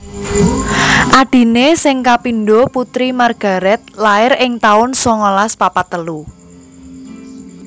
Adhiné sing kapindho Putri Margaret lair ing taun songolas papat telu